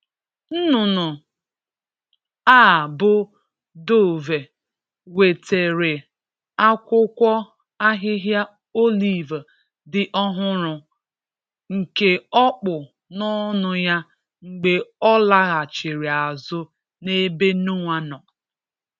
Nnụnụ a bụ dove, wetere akwụkwọ ahịhịa olive dị ọhụrụ, nke o kpụ n’ọnụ ya mgbe ọ laghachiri azụ n’ebe Noa nọ.